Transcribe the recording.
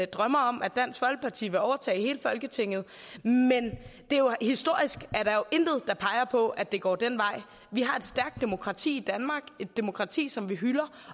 drømmer om at dansk folkeparti vil overtage hele folketinget men historisk er der jo intet der peger på at det går den vej vi har et stærkt demokrati i danmark et demokrati som vi hylder